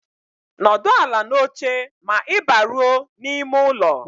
N'ọdụ ala n'oche ma ị baruo n'ime ụlọ